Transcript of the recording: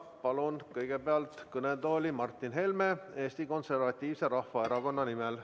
Palun kõigepealt kõnetooli Martin Helme Eesti Konservatiivse Rahvaerakonna nimel.